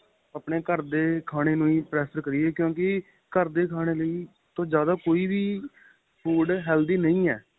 ਆਪਣੇਂ ਘਰ ਦੇ ਖਾਣੇ ਨੂੰ prefer ਕਰੀਏ ਕਿਉਂਕਿ ਘਰ ਦੇ ਖਾਣੇ ਲਈ ਜਿਆਦਾ ਕੋਈ ਵੀ food healthy ਨਹੀਂ ਏ